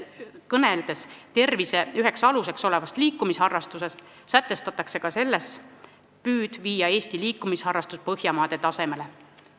Kõneldes tervise üheks aluseks olevast liikumisharrastusest, sätestatakse ka selles püüd viia Eesti Põhjamaade tasemele.